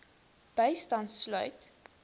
bystand sluit